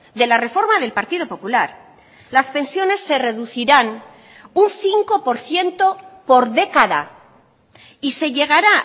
de la reforma del partido popular las pensiones se reducirán un cinco por ciento por década y se llegará